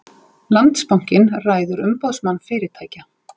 Landsbankinn ræður Umboðsmann fyrirtækja